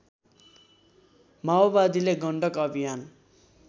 माओवादीले गण्डक अभियान